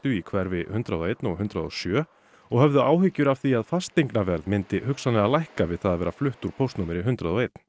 í hverfi hundrað og eins og hundrað og sjö og höfðu áhyggjur af því að fasteignaverð myndi hugsanlega lækka við það að vera flutt úr póstnúmeri hundrað og einum